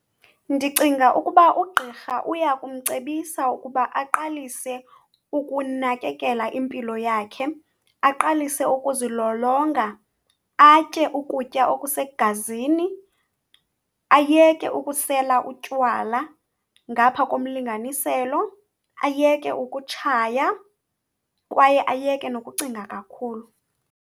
Ndicinga ukuba ugqirha uyakumcebisa ukuba aqalise ukunakekela impilo yakhe, aqalise ukuzilolonga, atye ukutya okusegazini, ayeke ukusela utywala ngapha komlinganiselo, ayeke ukutshaya kwaye ayeke nokucinga kakhulu.